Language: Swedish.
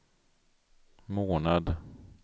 månad